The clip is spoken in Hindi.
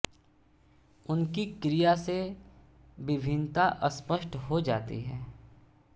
उनकी क्रिया से विभिन्नता स्पष्ट हो जाती है